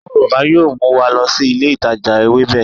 Aburo baba yoo mu wa lọ si ile itaja Ewebe